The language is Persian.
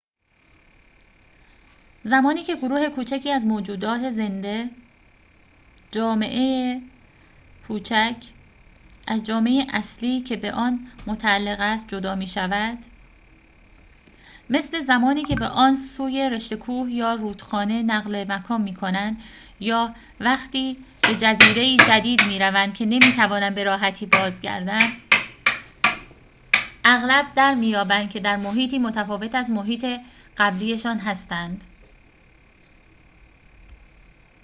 زمانی که گروه کوچکی از موجودات زنده جامعه‌ای کوچک از جامعه اصلی که به آن متعلق است جدا می‌شود مثل زمانی که به آن سوی رشته کوه یا رودخانه نقل مکان می‌کنند، یا وقتی به جزیره‌ای جدید می‌روند که نمی‌توانند به‌راحتی بازگردند، اغلب درمی‌یابند که در محیطی متفاوت از محیط قبلی‌شان هستند